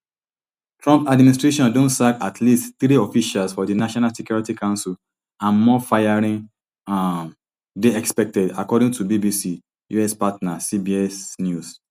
trump administration don sack at least three officials for di national security council and more firings um dey expected according to bbc us partner cbs news